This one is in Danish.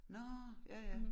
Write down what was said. Nåh ja ja